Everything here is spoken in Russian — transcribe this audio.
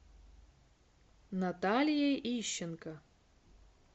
наталией ищенко